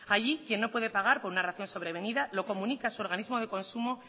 allí quien no puede pagar por una razón sobrevenida lo comunica a su organismo de consumo